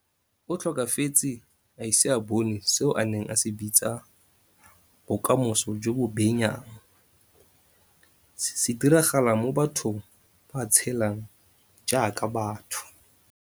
O tlhokafetse a ise a bone seo a neng a se bitsa 'bokamoso jo bo benyang', se diragala mo batho ba tshelang jaaka batho.